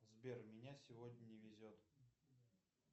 сбер меня сегодня не везет